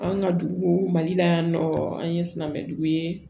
An ka dugu mali la yan nɔ an ye silamɛjugu ye